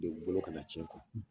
bolo kana tiɲɛ